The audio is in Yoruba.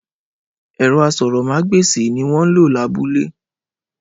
Ẹrọ aṣórómàgbesi ni wọn lọ labúlé.